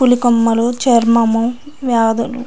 పూల కొమ్మలు చర్మము వ్యాధులు --